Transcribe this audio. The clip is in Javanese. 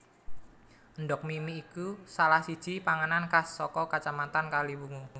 Endhog mimi iku salah siji panganan khas saka Kacamatan Kaliwungu